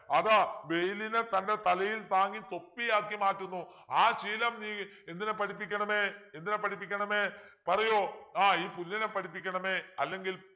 അത് വെയിലിനെ തൻ്റെ തലയിൽ താങ്ങി തൊപ്പിയാക്കി മാറ്റുന്നു ആ ശീലം നീ എന്തിനെ പഠിപ്പിക്കണമേ എന്തിനെ പഠിപ്പിക്കണമേ പറയൂ ആഹ് ഈ പുല്ലിനെ പഠിപ്പിക്കണമേ അല്ലെങ്കിൽ